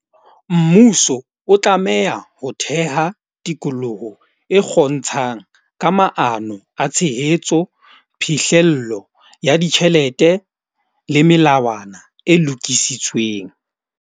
Mmuso o tlameha ho theha tikoloho e ka maano a tshehetso, phihlello ya ditjhelete le melawana e lokisitsweng.